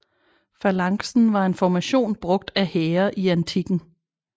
Falanksen var en formation brugt af hære i antikken